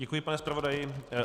Děkuji, pane zpravodaji.